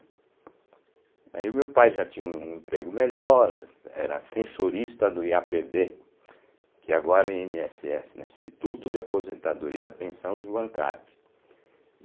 Aí o meu pai já tinha um emprego melhor, era sensorista do i á pê bê, que agora é i ene esse esse, né Instituto de Aposentadoria e Pensão dos Bancários.